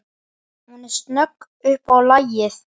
Hún er snögg upp á lagið.